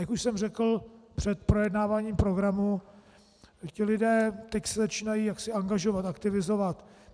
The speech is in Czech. Jak už jsem řekl před projednáváním programu, ti lidé se teď začínají angažovat, aktivizovat.